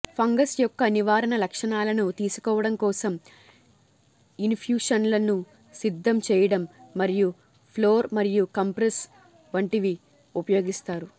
fungus యొక్క నివారణ లక్షణాలను తీసుకోవడం కోసం ఇన్ఫ్యూషన్లను సిద్ధం చేయడం మరియు ఫ్లోర్ మరియు కంప్రెస్ వంటివి ఉపయోగిస్తారు